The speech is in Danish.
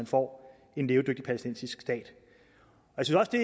få en levedygtig palæstinensisk stat